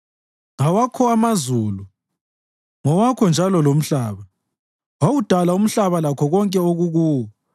Ngawakho amazulu, ngowakho njalo lomhlaba; wawudala umhlaba lakho konke okukuwo.